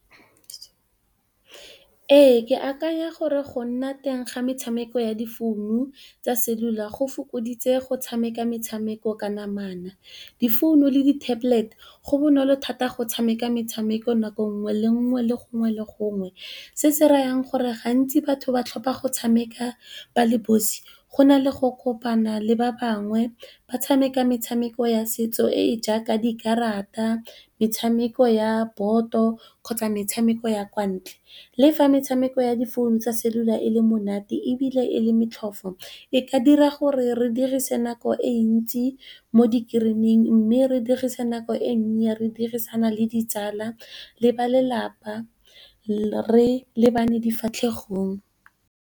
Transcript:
Ee ke akanya gore go nna teng ga metshameko ya difounu tsa cellular go fokoditse go tshameka metshameko ka namana. Difounu le di tablet go bonolo thata go tshameka metshameko nako ngwe le ngwe, le gongwe le gongwe se se rayang gore gantsi batho ba tlhopha go tshameka ba le bosi, go na le go kopana le ba bangwe ba tshameka metshameko ya setso e e jaaka dikarata, metshameko ya boto, kgotsa metshameko ya kwa ntle. Le fa metshameko ya difounu tsa cellular e le monate ebile e le motlhofo e ka dira gore re dirise nako e ntsi mo di greeneng mme, re dirise nako e nnye re dirisana le ditsala le ba lelapa re lebane difatlhegong.